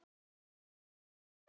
Amma gapti.